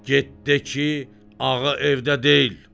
Get de ki, ağa evdə deyil.